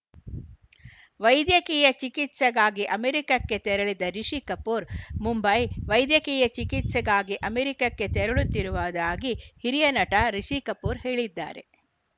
ವೈದ್ಯಕೀಯ ಚಿಕಿತ್ಸೆಗಾಗಿ ಅಮೆರಿಕಕ್ಕೆ ತೆರಳಿದ ರಿಷಿ ಕಪೂರ್‌ ಮುಂಬೈ ವೈದ್ಯಕೀಯ ಚಿಕಿತ್ಸೆಗಾಗಿ ಅಮೆರಿಕಕ್ಕೆ ತೆರಳುತ್ತಿರುವುದಾಗಿ ಹಿರಿಯ ನಟ ರಿಷಿ ಕಪೂರ್‌ ಹೇಳಿದ್ದಾರೆ